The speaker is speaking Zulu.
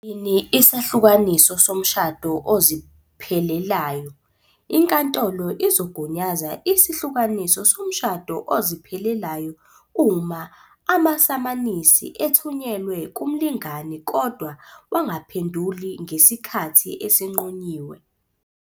Siyini isahlukaniso somshado oziphelelayo? Inkantolo izogunyaza isahlukaniso somshado oziphelelayo uma amasamanisi ethunyelwe kumlingani kodwa wangaphenduli ngesikhathi esinqunyiwe.